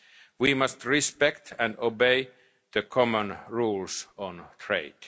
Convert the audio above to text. damage would be fatal. We must respect and obey the